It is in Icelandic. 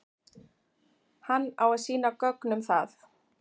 Hann á að sýna gögn um það.